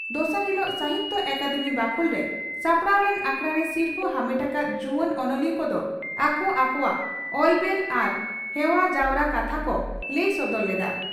ᱫᱚᱥᱟᱨ ᱦᱤᱞᱚᱜ ᱥᱟᱦᱤᱛᱭᱚ ᱟᱠᱟᱫᱮᱢᱤ ᱵᱟᱠᱷᱩᱞᱨᱮ ᱥᱟᱯᱲᱟᱣ ᱞᱮᱱ ᱟᱠᱷᱲᱟᱨᱮ ᱥᱤᱨᱯᱷᱟᱹ ᱟᱢᱮᱴ ᱟᱠᱟᱫ ᱡᱩᱣᱟᱹᱱ ᱚᱱᱚᱞᱤᱭᱟᱹ ᱠᱚᱫᱚ ᱟᱠᱚ ᱟᱠᱚᱣᱟᱜ ᱚᱞᱵᱮᱞ ᱟᱨ ᱦᱮᱣᱟ ᱡᱟᱣᱨᱟ ᱠᱟᱛᱷᱟ ᱠᱚ ᱞᱟᱹᱭ ᱥᱚᱫᱚᱨ ᱞᱮᱫᱼᱟ ᱾